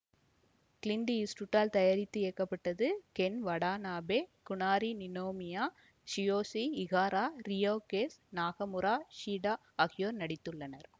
Clint Eastwood ஆல் தயாரித்து இயக்கப்பட்டது Ken Watanabe Kazunari Ninomiya Tsuyoshi Ihara Ryo Kase Nakamura Shido ஆகியோர் நடித்துள்ளனர்